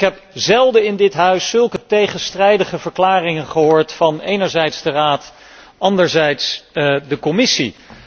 Ik heb zelden in dit huis zulke tegenstrijdige verklaringen gehoord van enerzijds de Raad en anderzijds de Commissie.